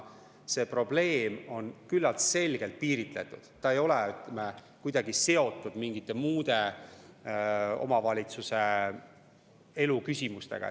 See probleem on küllalt selgelt piiritletud, see ei ole kuidagi seotud mingite muude omavalitsuse elu küsimustega.